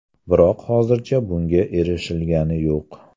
Biroq hozircha bunga erishilgani yo‘q.